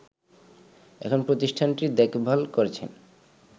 এখন প্রতিষ্ঠানটির দেখভাল করছেন